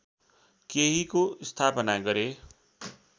केहीको स्थापना गरे